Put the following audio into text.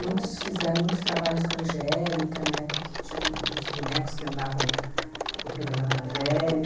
Muitos fizeram muitos trabalhos com a Angélica, na época que tinha uns bonecos que andavam no no programa da Angélica.